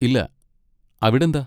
ഇല്ല, അവിടെന്താ?